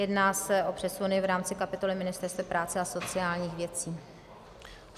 Jedná se o přesuny v rámci kapitoly Ministerstva práce a sociálních věcí.